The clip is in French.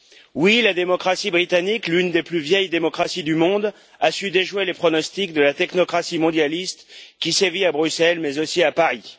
Oui, la démocratie britannique, l'une des plus vieilles démocraties du monde, a su déjouer les pronostics de la technocratie mondialiste qui sévit à Bruxelles, mais aussi à Paris.